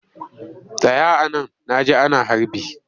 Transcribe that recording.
Tsaya a nan na ji ana harbi!